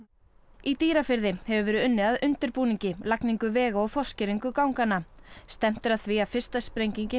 í Dýrafirði hefur verið unnið að undirbúningi lagningu vega og ganganna stefnt er að því að fyrsta sprengingin